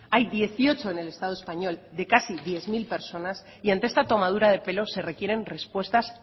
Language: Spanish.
hay dieciocho en el estado español de casi diez mil personas y ante esta tomadura de pelo se requieren respuestas